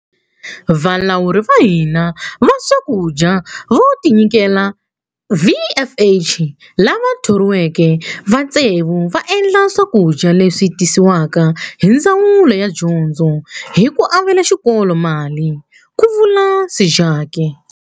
Valawuri va hina va swakudya vo tinyikela, VFH, lava thoriweke va tsevu va endla swakudya leswi tisiwaka hi Ndzawulo ya Dyondzo hi ku avela xikolo mali, ku vula Sejake.